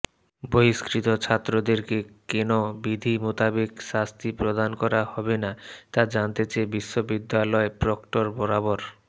বহিষ্কৃত ছাত্রদেরকে কেন বিধি মোতাবেক শাস্তি প্রদান করা হবেনা তা জানতে চেয়ে বিশ্ববিদ্যালয় প্রক্টর বরাবর